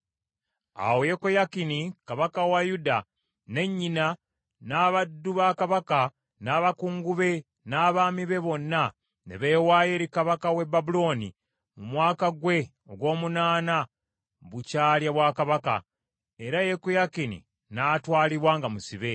Awo Yekoyakini kabaka wa Yuda, ne nnyina, n’abaddu ba kabaka, n’abakungu be, n’abaami be bonna ne beewaayo eri kabaka w’e Babulooni mu mwaka gwe ogw’omunaana bukya alya bwakabaka, era Yekoyakini n’atwalibwa nga musibe.